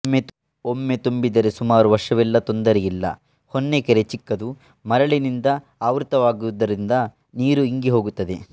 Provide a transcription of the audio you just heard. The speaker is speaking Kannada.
ಒಮ್ಮೆ ತುಂಬಿದರೆ ಸುಮಾರು ವರ್ಷವೆಲ್ಲಾ ತೊಂದರೆ ಇಲ್ಲ ಹೊನ್ನೆಕೆರೆಚಿಕ್ಕದು ಮರಳಿನಿಂದ ಆವ್ರುತವಾದ್ದ್ದರಿಂದ ನೀರು ಇಂಗಿಹೋಗುತ್ತದೆ